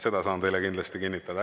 Seda saan teile kindlasti kinnitada.